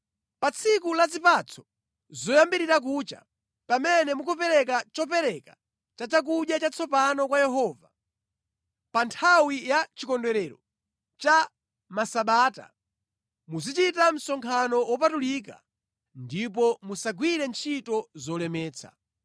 “ ‘Pa tsiku la zipatso zoyambirira kucha, pamene mukupereka chopereka cha chakudya chatsopano kwa Yehova, pa nthawi ya chikondwerero cha Masabata, muzichita msonkhano wopatulika ndipo musagwire ntchito zolemetsa.